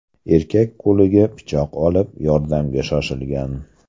Erkak qo‘liga pichoq olib, yordamga shoshilgan.